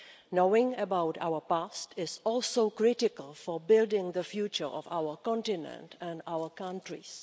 Knowing about our past is also critical for building the future of our continent and our countries.